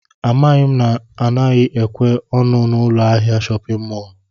Amaghị m na anaghị ekwe ọnụ n'ụlọ ahịa shọpịn mọl